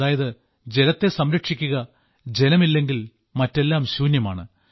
അതായത് ജലത്തെ സംരക്ഷിക്കുക ജലമില്ലെങ്കിൽ മറ്റെല്ലാം ശൂന്യമാണ്